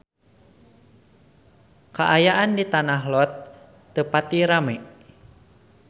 Kaayaan di Tanah Lot teu pati rame